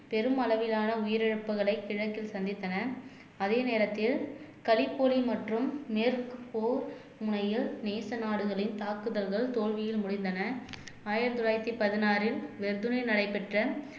பெரும் அளவிலான உயிரிழப்புகளை கிழக்கில் சந்தித்தன அதே நேரத்தில் கலிப்பொலி மற்றும் மேற்கு போர் முனையில் நேச நாடுகளின் தாக்குதல்கள் தோல்வியில் முடிந்தன ஆயிரத்தி தொள்ளாயிரத்தி பதினாறில் நடைபெற்ற